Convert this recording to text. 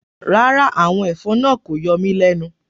Rárá, àwọn ẹ̀fọn náà kò yọ mí lẹ́nu.